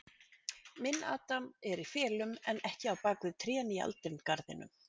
Minn adam er í felum, en ekki á bak við trén í aldingarðinum.